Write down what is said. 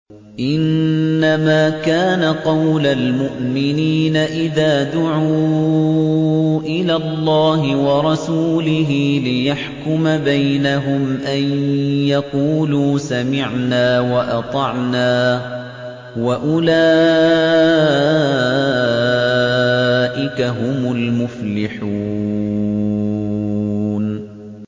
إِنَّمَا كَانَ قَوْلَ الْمُؤْمِنِينَ إِذَا دُعُوا إِلَى اللَّهِ وَرَسُولِهِ لِيَحْكُمَ بَيْنَهُمْ أَن يَقُولُوا سَمِعْنَا وَأَطَعْنَا ۚ وَأُولَٰئِكَ هُمُ الْمُفْلِحُونَ